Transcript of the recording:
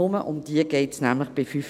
nur um diese geht es nämlich bei 5G.